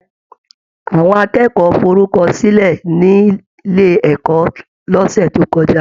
Àwọn akẹ́kọ̀ọ́ forukọsilẹ nílé ẹ̀kọ́ l'ọsẹ tó kọjá.